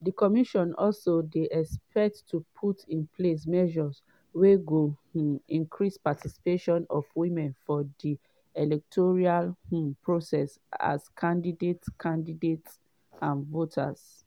di commission also dey expected to “put in place measures wey go um increase participation of women for di electoral um process as candidates candidates and voters.”